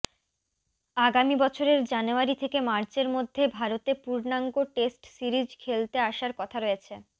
আগামী বছরের জানুয়ারি থেকে মার্চের মধ্যে ভারতে পূর্ণাঙ্গ টেস্ট সিরিজ খেলতে আসার কথা রয়েছে